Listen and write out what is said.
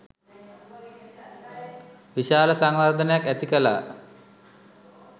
විශාල සංවර්ධනයක් ඇතිකළා.